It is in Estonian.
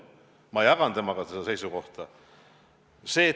Ma jagan seda seisukohta.